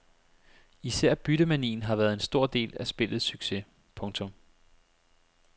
Især byttemanien har været en stor del af spillets succes. punktum